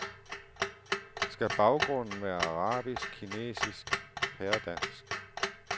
Skal baggrunden være arabisk, kinesisk, pæredansk.